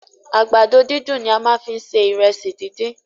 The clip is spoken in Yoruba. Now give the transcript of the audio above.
Àgbàdo dídùn ni a fi má ń se Ìrẹsì dídín.